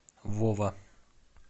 вова